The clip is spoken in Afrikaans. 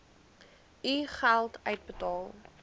u geld uitbetaal